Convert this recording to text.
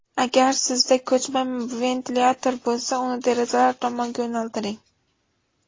Agar sizda ko‘chma ventilyator bo‘lsa, uni derazalar tomonga yo‘naltiring.